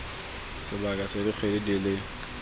sebaka sa dikgwedi di le